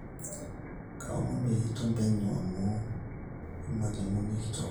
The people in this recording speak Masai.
kaomon peyie iton penyo aanyu olmalimui kitok